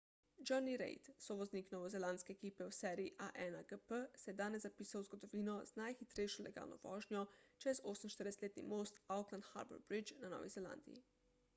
jonny reid sovoznik novozelandske ekipe v seriji a1gp se je danes zapisal v zgodovino z najhitrejšo legalno vožnjo čez 48-letni most auckland harbour bridge na novi zelandiji